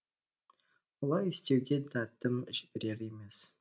олай істеуге дәтім жіберер емес